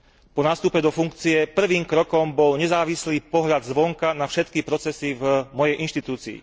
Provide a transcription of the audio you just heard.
Po nástupe do funkcie prvým krokom bol nezávislý pohľad zvonka na všetky procesy v mojej inštitúcii.